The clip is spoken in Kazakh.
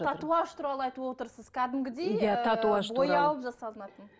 татуаж туралы айтып отырсыз кәдімгідей ы боялып жасалынатын